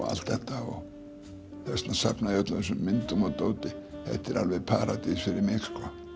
allt þetta þess vegna safna ég öllum þessum myndum og dóti þetta er alveg paradís fyrir mig